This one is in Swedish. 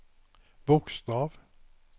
bokstav